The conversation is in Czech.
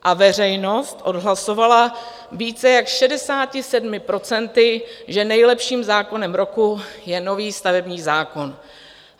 A veřejnost odhlasovala více jak 67 %, že nejlepším zákonem roku je nový stavební zákon.